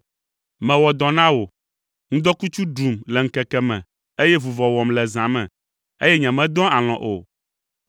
“Mewɔ dɔ na wò, ŋdɔkutsu ɖum le ŋkeke me, eye vuvɔ wɔm le zã me, eye nyemedɔa alɔ̃ o.